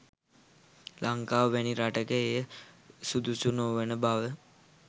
ලංකාව වැනි රටක එය සුදුසු නොවන බව